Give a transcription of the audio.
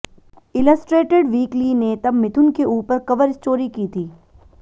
illustrated Weekly ने तब मिथुन के ऊपर कवर स्टोरी की थी